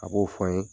A b'o fɔ n ye